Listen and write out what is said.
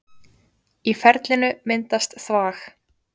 Í ferlinu myndast þvag.